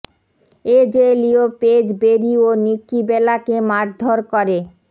এজে লি ও Paige Brie ও নিকী বেলাকে মারধর করে